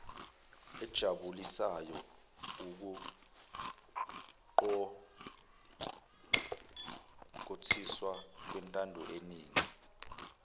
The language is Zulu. ejabulisayo ukuqokothiswa kwentandoyeningi